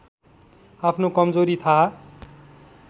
आफ्नो कमजोरी थाहा